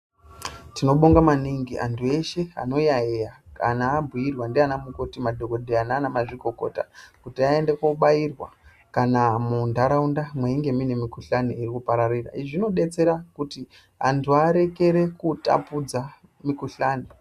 Tinobonga maningi antu eshe anoyayeya kana abhiurwa naanamikoti, madhokodheya naanamazvikokota kuti aende koobairwa kana muntaraunda mweinge muine mikhuhlani iri kupararira .izvi zvinobetsera kuti antu arekere kutapudza mukhuhlani.